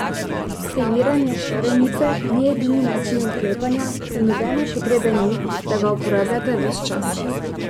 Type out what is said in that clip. Skeniranje šarenice ni edini način odklepanja in nobene potrebe ni, da ga uporabljate ves čas.